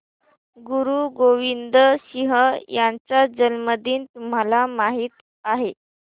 गुरु गोविंद सिंह यांचा जन्मदिन तुम्हाला माहित आहे